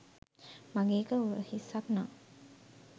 මගේ එක උරහිස්සක් නං